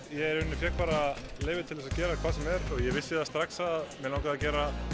ég fékk bara leyfi til að gera hvað sem er og vissi strax að mig langaði að gera